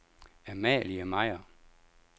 Amalie Meier